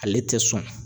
Ale tɛ sɔn